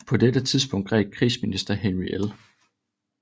På dette tidspunkt greb krigsminister Henry L